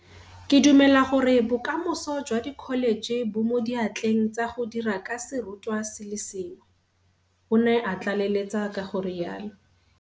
Ke dumela gore bokamoso jwa dikholetšhe bo mo diatleng tsa go dira ka serutwa se le sengwe, o ne a tlaleletsa ka go rialo.